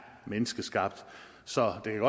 menneskeskabt så det kan